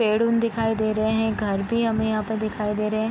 पेड़-उन दिखाई दे रहे हैं घर भी हमें यहाँ पे दिखाई दे रहे हैं।